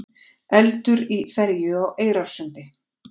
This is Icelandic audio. Eldur í ferju á Eyrarsundi